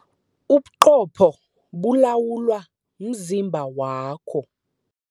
Ubuqopho bulawula umzimba wakho.